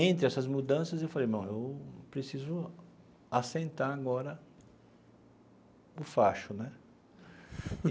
Entre essas mudanças, eu falei, não, eu preciso assentar agora o facho né.